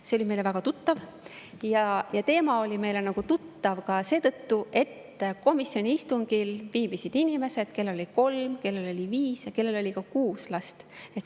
See oli meile väga tuttav ja teema oli meile tuttav ka seetõttu, et komisjoni istungil viibisid inimesed, kellel oli kolm, kellel oli viis või kuus last.